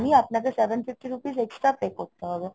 মানি আপনাকে seven fifty rupees extra pay করতে হবে